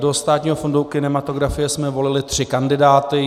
Do Státního fondu kinematografie jsme volili tři kandidáty.